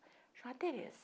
Chamava Tereza.